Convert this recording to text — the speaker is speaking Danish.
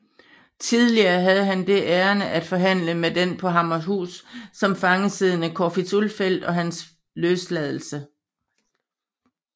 Tillige havde han det ærinde at forhandle med den på Hammershus som fange siddende Corfitz Ulfeldt om hans løsladelse